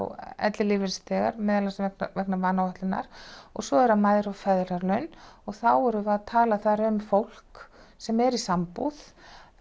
ellilífeyrisþegar meðal annars vegna vanáætlunar og svo eru það mæðra og feðralaun og þá erum við að tala þar um fólk sem er í sambúð